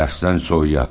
Dərsdən soyuya.